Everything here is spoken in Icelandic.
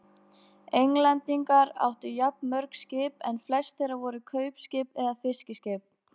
Englendingar áttu jafnmörg skip en flest þeirra voru kaupskip eða fiskiskip.